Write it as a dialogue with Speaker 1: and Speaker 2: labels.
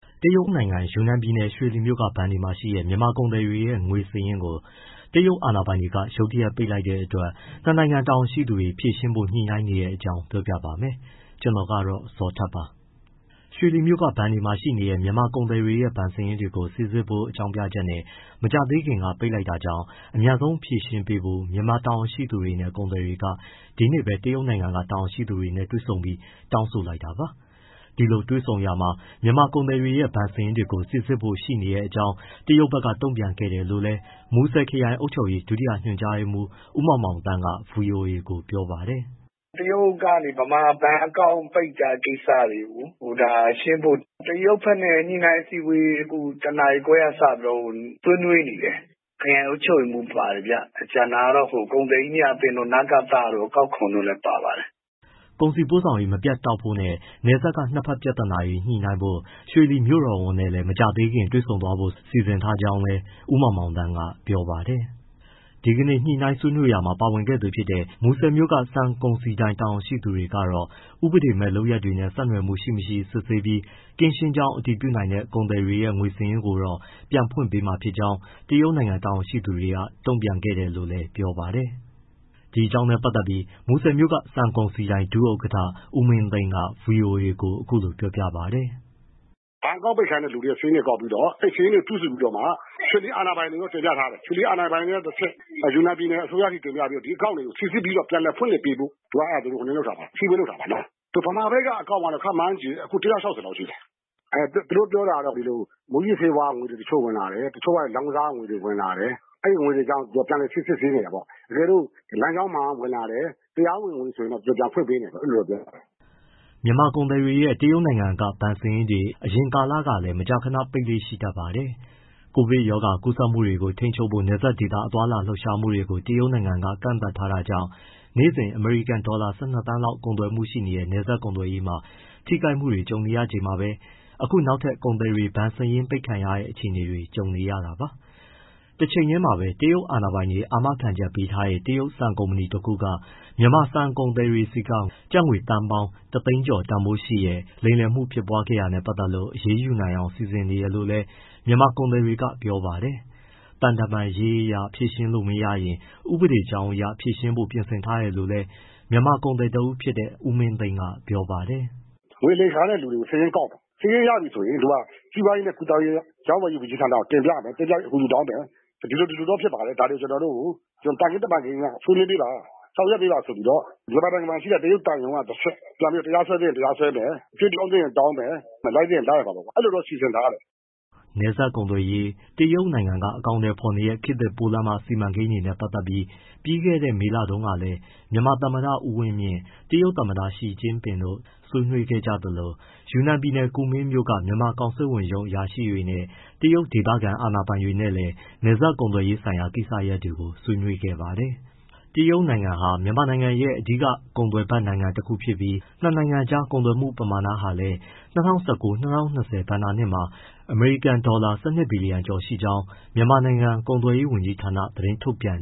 Speaker 1: တရုတ်နိုင်ငံ ယူနန်ပြည်နယ်၊ ရွှေလီမြို့က ဘဏ်တွေမှာရှိတဲ့ မြန်မာကုန်သည်တွေရဲ့ ငွေစာရင်းတွေကို တရုတ်အာဏာပိုင်တွေ ရုတ်တရက် ပိတ်လိုက်တဲ့အတွက် ၂ နိုင်ငံတာဝန်ရှိသူတွေ ဖြေရှင်းဖို့ ညှိနှိုင်းနေတဲ့အကြောင်း ပြောပြပါမယ်။ ဗွီအိုအေမြန်မာပိုင်း သတင်းထောက် ကိုဇော်ထက်က သတင်းပေးပို့ထားပါတယ်။ ရွှေလီမြို့က ဘဏ်တွေမှာရှိနေတဲ့ မြန်မာကုန်သည်တွေရဲ့ ဘဏ်စာရင်းတွေကို စိစစ်ဖို့ဆိုတဲ့ အကြောင်းပြချက်နဲ့ မကြာသေးခင်ကပဲ ပိတ်လိုက်တာကြောင့် အမြန်ဆုံးဖြေရှင်းပေးဖို့ မြန်မာတာဝန်ရှိသူတွေနဲ့ ကုန်သည်တွေ ဒီနေ့ပဲ တရုတ်နိုင်ငံက တာဝန်ရှိသူတွေနဲ့ တွေ့ဆုံပြီး တောင်းဆိုလိုက်တာပါ။ ဒီလိုတွေ့ဆုံရာမှာ မြန်မာကုန်သည်တွေရဲ့ ဘဏ်စာရင်းတွေကို စိစစ်ဖို့ရှိနေတဲ့အကြောင်း တရုတ်ဘက်က တုံ့ပြန်ခဲ့တယ်လို့လည်း မူဆယ်ခရိုင် အုပ်ချုပ်ရေး ဒုတိယညွှန်ကြားရေးမှူး ဦးမောင်မောင်သန်းက ဗွီအိုအေကို ပြောပါတယ်။
Speaker 2: “တရုတ်ကနေ မြန်မာဘဏ်အကောင့် ပိတ်တဲ့ကိစ္စတွေ ဒါ ရှင်းဖို့ တရုတ်ဘက်နဲ့ ညှိနှိုင်းအစည်းအဝေး ၁ နာရီခွဲကစပြီးတော့ ဆွေးနွေးနေတယ်။ (မူဆယ်) ခရိုင်အုပ်ချုပ်ရေးမှူး ပါတယ်ဗျ၊ ကျန်တာကတော့ ကုန်သည်ကြီးများအသင်းတို့ နကသတို့၊ အကောက်ခွန်တို့လည်း ပါပါတယ်။
Speaker 1: ” ကုန်စည်ပို့ဆောင်ရေး မပြတ်တောက်ဖို့နဲ့ နယ်စပ်က နှစ်ဘက်ပြဿနာတွေ ညှိနှိုင်းဖို့ ရွှေလီမြို့တော်ဝန်နဲ့ မကြာခင်တွေ့ဆုံ ဆွေးနွေးဖို့ စီစဉ်ထားကြောင်းလည်း ဦးမောင်မောင်သန်းက ပြောပါတယ်။ ဒီကနေ့ ညှိနှိုင်းဆွေးနွေးရာမှာ ပါဝင်ခဲ့သူ တဦးဖြစ်တဲ့ မူဆယ်မြို့က ဆန်ကုန်စည်ဒိုင် ဒုဥက္ကဋ္ဌ ဦးမင်းသိန်းကတော့ ဥပဒေမဲ့ လုပ်ရပ်တွေနဲ့ ဆက်နွယ်မှု ရှိ၊ မရှိ စစ်ဆေးပြီး ကင်းရှင်းကြောင်း အတည်ပြုနိုင်တဲ့ ကုန်သည်တွေရဲ့ ငွေစာရင်းတွေကိုတော့ ပြန်ဖွင့်ပေးမှာ ဖြစ်ကြောင်း တရုတ်နိုင်ငံ တာဝန်ရှိသူတွေက တုံ့ပြန်ခဲ့တယ်လို့လည်း ဗွီအိုအေကို ပြောပါတယ်။ “ဘဏ်အကောင့်
Speaker 2: ပိတ်ခံရတဲ့သူတွေရဲ့ စာရင်းတွေပေါင်းပြီး အဲဒီစာရင်းတွေ စုစုပြီးတော့မှ ရွှေလီအာဏာပိုင်တွေကို တင်ပြထားတယ်။ ရွှေလီအာဏာပိုင်တွေက တဆင့် ယူနန်ပြည်နယ် အစိုးရထိ တင်ပြပြီးတော့ ဒီအကောင့်တွေကို စိစစ်ပြီး ပြန်လည်ဖွင့်လှစ်ပေးဖို့ အစည်းအဝေး လုပ်တာပါ။ ဗမာဘက်က အကောင့်ကတော့ ခန့်မှန်းခြေ အခု ၁၆၀ လောက်ရှိတယ်။ သူတို့ပြောတာကတော့ ဒီလို မူးယစ်ဆေးဝါးကငွေတွေ ဝင်လာတယ်။ တချို့ကလည်း လောင်းကစားကငွေတွေ ဝင်လာတယ်။ အဲဒီငွေတွေကြောင့် ပြန်စစ်ဆေးချင်တယ်ပေါ့။ တကယ်လို့ လမ်းကြောင်းမှန်က ဝင်လာတယ်။ တရားဝင်တယ်ဆိုရင် ပြန်ဖွင့်ပေးမယ်.. အဲဒီလိုပြောတာပေါ့။
Speaker 1: ” မြန်မာကုန်သည်တွေရဲ့ တရုတ်နိုင်ငံက ဘဏ်စာရင်းတွေကို အရင်ကလည်း မကြာခဏ ပိတ်လေ့ရှိတတ်ပါတယ်။ ကိုဗစ်ကပ်ရောဂါ ကူးစက်မှုတွေကို ထိန်းချုပ်ဖို့ နယ်စပ်ဒေသ သွားလာလှုပ်ရှားမှုတွေကို တရုတ်နိုင်ငံက ကန့်သတ်ထားတာကြောင့် နေ့စဉ် အမေရိကန်ဒေါ်လာ ၁၂ သန်းလောက် ကုန်သွယ်မှုပမာဏရှိတဲ့ နယ်စပ်ကုန်သွယ်ရေးမှာ ထိခိုက်မှုတွေ ကြုံနေရချိန်မှာပဲ အခုနောက်ထပ် ကုန်သည်တွေ ဘဏ်စာရင်းပိတ်ခံရတဲ့ အခြေအနေနဲ့ ကြုံနေရတာပါ။ တချိန်တည်းမှာပဲ တရုတ်အာဏာပိုင်တွေ အာမခံပေးထားတဲ့ တရုတ်ဆန်ကုမ္ပဏီတခုက မြန်မာဆန်ကုန်သည်တွေဆီက ကျပ်ငွေသန်းပေါင်း ၁၀၀,၀၀၀ ကျော်တန်ဖိုးရှိတဲ့ လိမ်လည်မှု ဖြစ်ပွားခဲတာနဲ့ ပတ်သက်လို့ အရေးယူနိုင်အောင် စီစဉ်နေတယ်လို့လည်း မြန်မာကုန်သည်တွေက ပြောပါတယ်။ သံတမန်ရေးအရ ဖြေရှင်းလို့ မရရင် ဥပဒေကြောင်းအရပါ ဖြေရှင်းဖို့ ပြင်ဆင်ထားတယ်လို့လည်း မြန်မာကုန်သည်တဦးဖြစ်တဲ့ ဦးမင်းသိန်းက ပြောပါတယ်။
Speaker 2: “ငွေလိမ်ခံရတဲ့သူတွေကို စာရင်းကောက်မယ်။ စာရင်းရပြီဆိုရင် စီးပွားရေးနဲ့ ကူးသန်းရောင်းဝယ်ရေး ဝန်ကြီးဌာနကို တင်ပြပြီး အကူအညီတောင်းမယ်။ ဒီလို ဒီလိုတော့ ဖြစ်ပါတယ် ဒါတွေကျနော်တို့ကို သံခင်းတမန်ခင်းအရ ဆွေးနွေးပေးပါ။ ဆောင်ရွက်ပေးပါဆိုပြီး မြန်မာနိုင်ငံ တရုတ်သံရုံးကတဆင့် တရားစွဲသင့် တရားစွဲမယ် အကြွေးတောင်းသင့်ရင် တောင်းမယ်။ လိုက်သင့်ရင် လိုက်ရမှာပေါ့။ အဲလိုတော့ စီစဉ်ထားတယ်။
Speaker 1: ” နယ်စပ်ကုန်သွယ်ရေး၊ တရုတ်နိုင်ငံက အကောင်အထည်ဖော်နေတဲ့ ခေတ်သစ်ပိုးလမ်းမ စီမံကိန်းတွေနဲ့ ပတ်သက်လို့ ပြီးခဲ့တဲ့ မေလထဲမှာတုန်းကလည်း မြန်မာသမ္မတ ဦးဝင်းမြင့်၊ တရုတ်သမ္မတ ရှီကျင့်ပင်တို့ ဆွေးနွေးခဲ့ကြသလို၊ ယူနန်ပြည်နယ် ကူမင်းမြို့က မြန်မာကောင်စစ်ဝန်ရုံး အရာရှိတွေနဲ့ တရုတ်ဒေသခံ အာဏာပိုင်တွေလည်း နယ်စပ်ကုန်သွယ်ရေးဆိုင်ရာ ကိစ္စရပ်တွေကို ဆွေးနွေးခဲ့ဖူးပါတယ်။ တရုတ်နိုင်ငံဟာ မြန်မာနိုင်ငံရဲ့အဓိက ကုန်သွယ်ဖက်တခုဖြစ်ပြီး နှစ်နိုင်ငံကြား ကုန်သွယ်မှုပမာဏဟာလည်း ၂၀၁၉ - ၂၀၂၀ ဘဏ္ဍာနှစ်မှာ အမေရိကန်ဒေါ်လာ ၁၂ ဘီလီယံ (၁၂၁၂၆. ၂၇၈ သန်း) ကျော်ရှိခဲ့ကြောင်း မြန်မာနိုင်ငံ ကုန်သွယ်ရေးဝန်ကြီးဌာနက သတင်းထုတ်ပြန်